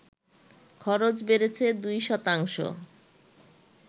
খরচ বেড়েছে দুই শতাংশ